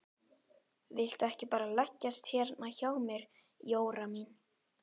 Viltu ekki bara leggjast hérna hjá mér Jóra mín.